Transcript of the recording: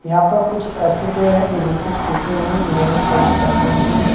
यहां पर कुछ ऐसे पेड़ है जो बिल्कुल सूखें हुए है जिन्हों में कोई भी पत्ते नहीं है।